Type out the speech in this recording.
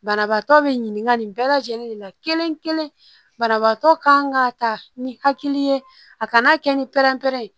Banabaatɔ be ɲininkali bɛɛ lajɛlen de la kelen kelen banabaatɔ kan ka ta ni hakili ye a kana kɛ ni pɛrɛnpɛrɛn